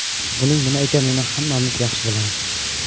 Buning nima ekanini hammamiz yaxshi bilamiz.